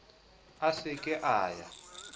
a se ke a ya